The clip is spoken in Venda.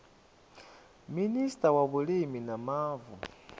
minista wa vhulimi na mavu